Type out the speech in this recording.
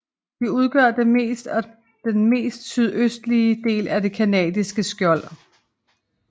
De udgør den yngste og den mest sydøstlige del af det canadiske skjold